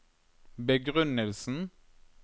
begrunnelsen